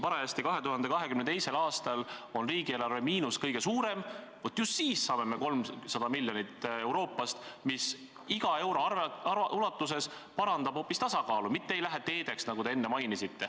Just siis, kui 2022. aastal on riigieelarve miinus kõige suurem, me saame Euroopa Liidust 300 miljonit, mis iga euro ulatuses parandab eelarve tasakaalu, mitte ei lähe teedeehituseks, nagu te enne mainisite.